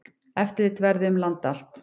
Eftirlit verði um land allt.